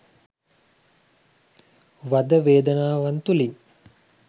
වද වේදනාවන් තුළින්